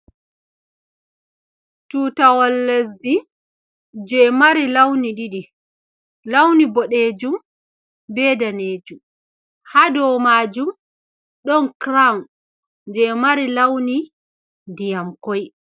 Tutawol lesdi je mari launi didi ,launi bodejum be danejum ha do majum don crawn je mari launi diyamkoi.